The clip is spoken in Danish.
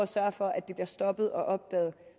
sørge for at det bliver stoppet og opdaget